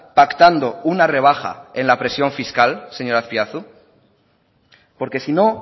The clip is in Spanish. pactando una rebaja en la presión fiscal señor azpiazu porque si no